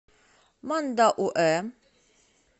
мандауэ